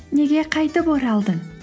неге қайтып оралдың